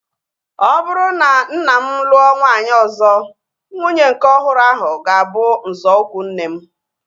Ọ bụrụ na mma m lụọ nwaanyị ọzọ, nwunye nke ọhụrụ ahu ga-abụ nzọụkwụ nne m